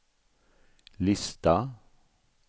lista